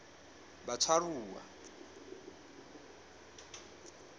batshwaruwa